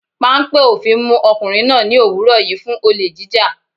Páńpẹ́ òfin mú ọkùnrin náà ní òwúrọ̀ yìí fún olè jíjà.